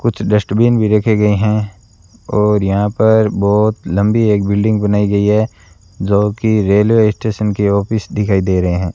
कुछ डस्टबिन भी रखे गए हैं और यहां पर बहुत लंबी एक बिल्डिंग बनाई गई है जो कि रेलवे स्टेशन की ऑफिस दिखाई दे रहे हैं।